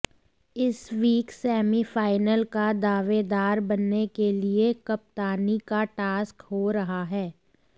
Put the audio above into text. इस week semi final का दावेदार बनने के लिए कप्तानी का टास्क हो रहा है